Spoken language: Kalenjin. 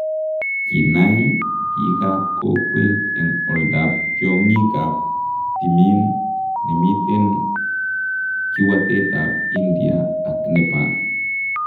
Kinaai biikab kokweet en oldap tyong'iikab timiin nemiten kiwaatetab India ak Nepal.